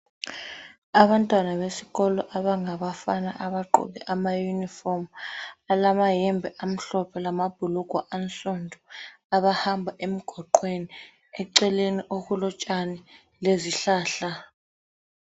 Abantwana besikolo abangabafana abagqoke amayunifomu. Balamayembe amhlophe lamabhulugwe ansundu abahamba emgwaqweni eceleni kulotshani lezihlahla.